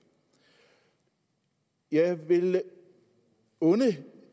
jeg vil unde